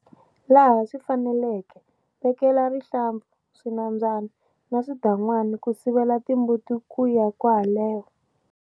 Laha swi faneleke, vekela rihlampfu, swinambyana na swidan'wana ku sivelatimbuti ku ya kwaleho.